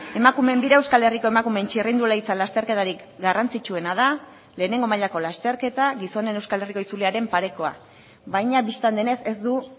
emakumeen bira euskal herriko emakumeen txirrindularitza lasterketarik garrantzitsuena da lehenengo mailako lasterketa gizonen euskal herriko itzuliaren parekoa baina bistan denez ez du